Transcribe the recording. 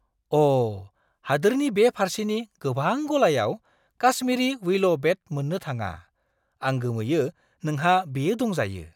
अ'! हादोरनि बे फार्सेनि गोबां गलायाव काश्मीरी विलो बेट मोननो थाङा। आं गोमोयो नोंहा बेयो दंजायो।